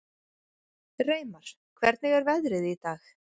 Reimar, hvernig er veðrið í dag?